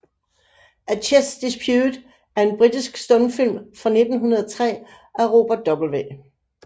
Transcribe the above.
A Chess Dispute er en britisk stumfilm fra 1903 af Robert W